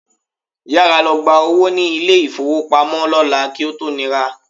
Yára lọ gba owó ní ilé-ìfówopamọ́ lọ́la kí ó tó nira